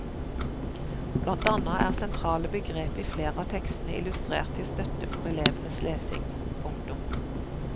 Blant annet er sentrale begrep i flere av tekstene illustrert til støtte for elevens lesing. punktum